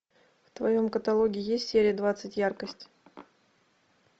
в твоем каталоге есть серия двадцать яркость